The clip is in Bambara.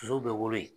Sow bɛ wolo ye